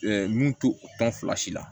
mun to o tɔn fila si la